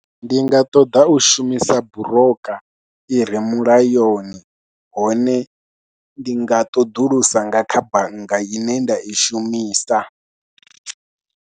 Ndi nga ṱoḓa u shumisa brooker i re mulayoni, hone ndi nga ṱoḓulusa nga kha bannga ine nda i shumisa.